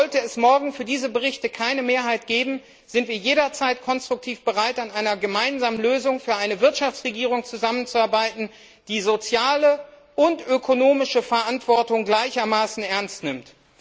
Sollte es morgen für diese Berichte keine Mehrheit geben, sind wir jederzeit bereit, konstruktiv an einer gemeinsamen Lösung für eine Wirtschaftsregierung zusammenzuarbeiten, die soziale und ökonomische Verantwortung gleichermaßen ernst nimmt.